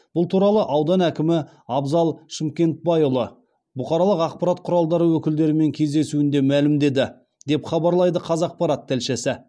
бұл туралы аудан әкімі абзал шымкентбайұлы бұқаралық ақпарат құралдары өкілдерімен кездесуінде мәлімдеді деп хабарлайды қазақпарат тілшісі